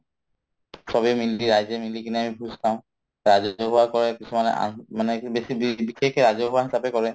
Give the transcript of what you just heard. চবে মিলি ৰাইজে মিলিকিনে আমি ভোজ খাওঁ ৰাজহুৱা কৰে কিছুমানে মানে কি বেছি বিশেষকে ৰাজহুৱাভাৱে কৰে